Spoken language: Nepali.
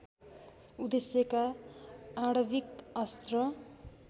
उद्देश्यका आणविक अस्त्र